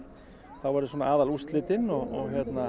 þá eru svona aðalúrslitin og